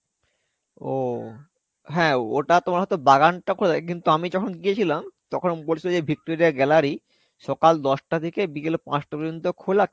ও. হ্যাঁ, ওটা তোমার হয়তো বাগানটা খোলা থাকে কিন্তু আমি যখন গেয়েছিলাম তখন বলছিলো যে Victoria gallery সকাল দশটা থেকে বিকাল পাঁচটা পর্য্যন্ত খোলা